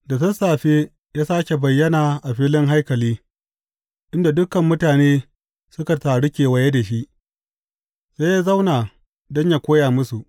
Da sassafe ya sāke bayyana a filin haikali, inda dukan mutane suka taru kewaye da shi, sai ya zauna don yă koya musu.